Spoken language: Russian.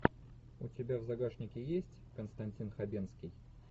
у тебя в загашнике есть константин хабенский